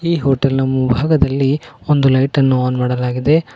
ಈ ಹೋಟೆಲ್ ನ ಮುಂಭಾಗದಲ್ಲಿ ಒಂದು ಲೈಟ್ ಅನ್ನು ಆನ್ ಮಾಡಲಾಗಿದೆ.